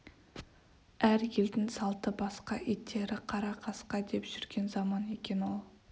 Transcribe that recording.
әр елдің салты басқа иттері қара қасқа деп жүрген заман екен ол